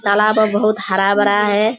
तालाब और बहुत हरा-भरा है।